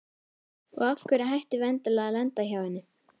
Og af hverju ættum við endilega að lenda hjá henni?